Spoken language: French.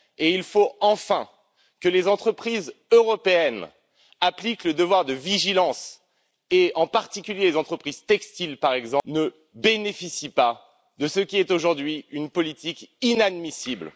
Et il faut enfin que les entreprises européennes appliquent le devoir de vigilance, et en particulier que les entreprises textiles ne bénéficient pas de ce qui est aujourd'hui une politique inadmissible.